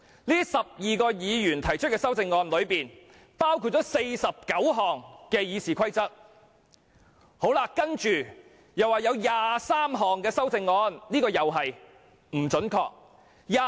他們提出的修訂包括49項修訂《議事規則》的建議，以及23項修訂議案。